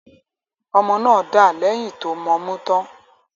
Ọmọ náà dà lẹ̀yìn tó mọmú tán.